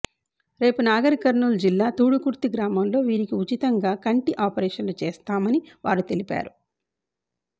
రేపు నాగర్ కర్నూలు జిల్లా తూడుకుర్తి గ్రామంలో వీరికి ఉచితంగా కంటి ఆపరేషన్లు చేస్తామని వారు తెలిపారు